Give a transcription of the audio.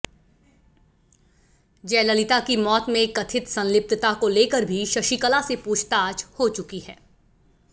जयललिता की मौत में कथित संलिप्तता को लेकर भी शशिकला से पूछताछ हो चुकी है